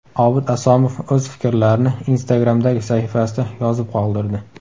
Obid Asomov o‘z fikrlarini Instagram’dagi sahifasida yozib qoldirdi .